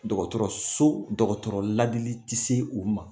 Dɔgɔtɔrɔ so dɔgɔtɔrɔ ladili tɛ se o ma.